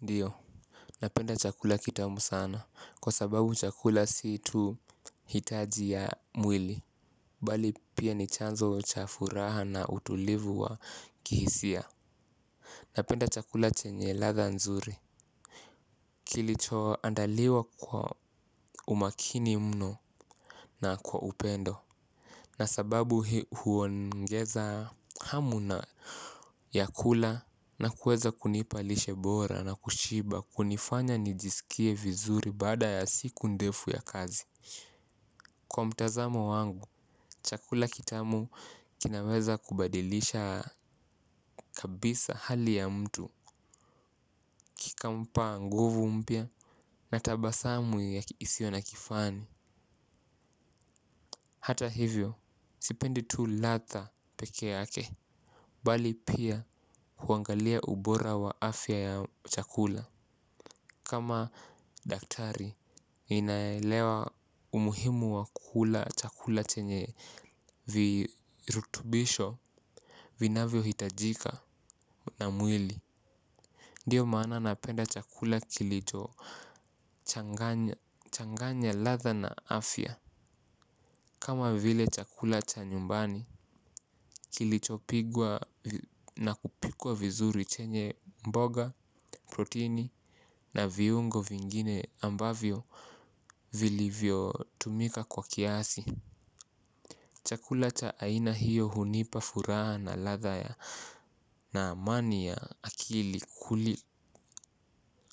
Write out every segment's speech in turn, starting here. Ndio. Napenda chakula kitamu sana kwa sababu chakula si tu hitaji ya mwili. Bali pia ni chanzo cha furaha na utulivu wa kihisia. Napenda chakula chenye ladha nzuri. Kilicho andaliwa kwa umakini mno na kwa upendo na sababu huongeza hamu na ya kula na kuweza kunipa lishe bora na kushiba hunifanya nijisikie vizuri baada ya siku ndefu ya kazi. Kwa mtazamo wangu, chakula kitamu kinaweza kubadilisha kabisa hali ya mtu. Kikampa nguvu mpya na tabasamu isiyo na kifani. Hata hivyo, sipendi tu ladha peke yake. Bali pia huangalia ubora wa afya ya chakula. Kama daktari ninaelewa umuhimu w kkula chakula chenye virutubisho vinavyo hitajika na mwili. Ndio maana napenda chakula kilicho changanya ladha na afya. Kama vile chakula cha nyumbani kilicho pigwa na kupikwa vizuri chenye mboga, proteini na viungo vingine ambavyo vilivyo tumika kwa kiasi chakula cha aina hio hunipa furaha na ladha ya na amani ya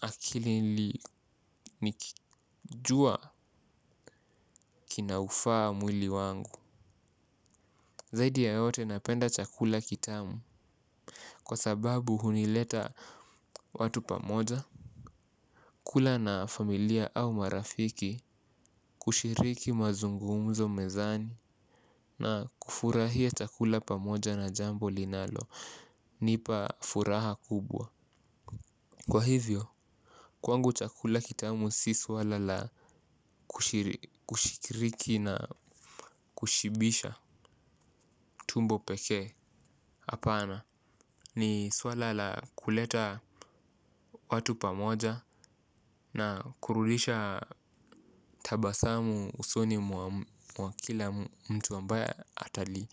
akili nikijua kina ufaa mwili wangu. Zaidi ya yote napenda chakula kitamu. Kwa sababu huleta watu pamoja. Kula na familia au marafiki kushiriki mazungumzo mezani. Na kufurahia chakula pamoja na jambo linalo nipa furaha kubwa. Kwa hivyo, kwangu chakula kitamu si swala la kushikiriki na kushibisha tumbo peke hapana ni swala la kuleta watu pamoja na kurudisha tabasamu usoni mwa kila mtu ambaye atali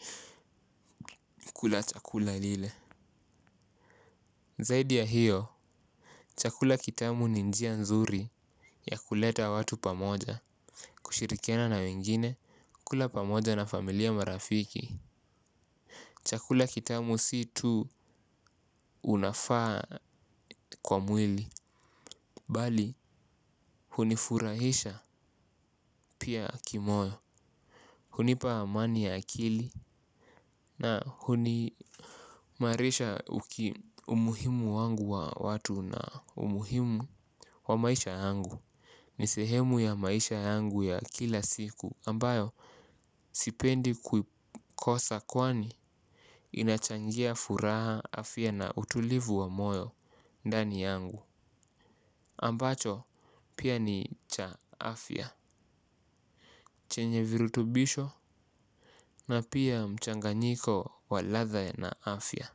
kula chakula lile. Zaidi ya hiyo, chakula kitamu ni njia nzuri ya kuleta watu pamoja, kushirikiana na wengine, kula pamoja na familia marafiki. Chakula kitamu si tu unafaa kwa mwili, bali hunifurahisha pia kimoyo. Hunipa amani ya akili na huni imarisha umuhimu wangu wa watu na umuhimu wa maisha yangu. Ni sehemu ya maisha yangu ya kila siku ambayo sipendi kukosa kwani inachangia furaha afya na utulivu wa moyo ndani yangu ambacho pia ni cha afya chenye virutubisho na pia mchanganyiko wa ladha na afya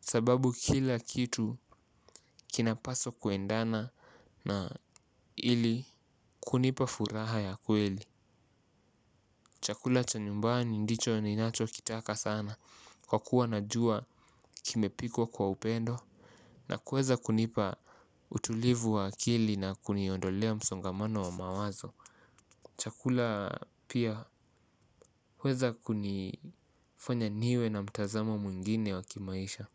sababu kila kitu kinapaswa kuendana na ili kunipa furaha ya kweli. Chakula cha nyumbani ndicho ni nacho kitaka sana kwa kuwa najua kimepikwa kwa upendo na kuweza kunipa utulivu wa akili na kuniondolea msongamano wa mawazo. Chakula pia huweza kunifanya niwe na mtazamo mwingine wa kimaisha.